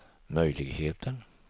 möjligheten